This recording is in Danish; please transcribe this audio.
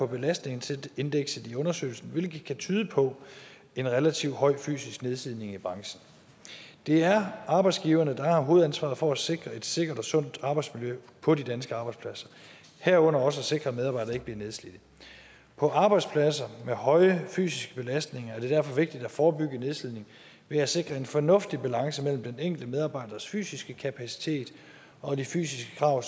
belastningsindekset i undersøgelsen hvilket kan tyde på en relativt høj fysisk nedslidning i branchen det er arbejdsgiverne der har hovedansvaret for at sikre et sikkert og sundt arbejdsmiljø på de danske arbejdspladser herunder også at sikre at medarbejdere ikke blive nedslidte på arbejdspladser med høje fysiske belastninger er det derfor vigtigt at forebygge nedslidning ved at sikre en fornuftig balance mellem den enkelte medarbejders fysiske kapacitet og de fysiske krav